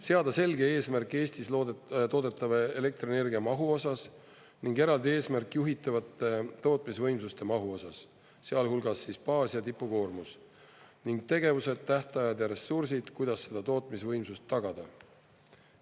Seada selge eesmärk Eestis toodetava elektrienergia mahu osas ning eraldi eesmärk juhitavate tootmisvõimsuste mahu osas, sealhulgas baas- ja tipukoormus, ning tegevused, tähtajad ja ressursid, kuidas seda tootmisvõimsust tagada.